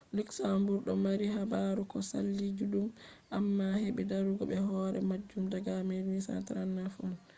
luxembourg do mari habaru ko saali juddum amma hebi darugo be hore majum daga 1839 on